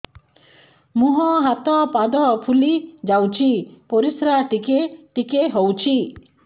ମୁହଁ ହାତ ପାଦ ଫୁଲି ଯାଉଛି ପରିସ୍ରା ଟିକେ ଟିକେ ହଉଛି